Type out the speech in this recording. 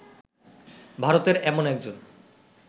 ভারতের এমন একজন